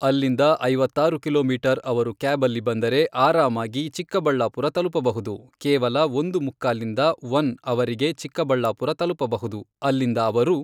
ಅಲ್ಲಿಂದ ಐವತ್ತಾರು ಕಿಲೋಮೀಟರ್ ಅವರು ಕ್ಯಾಬಲ್ಲಿ ಬಂದರೆ ಆರಾಮಾಗಿ ಚಿಕ್ಕಬಳ್ಳಾಪುರ ತಲುಪಬಹುದು ಕೇವಲ ಒಂದು ಮುಕ್ಕಾಲಿಂದ ಒನ್ ಅವರಿಗೆ ಚಿಕ್ಕಬಳ್ಳಾಪುರ ತಲುಪಬಹುದು ಅಲ್ಲಿಂದ ಅವರು